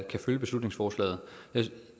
kan følge beslutningsforslaget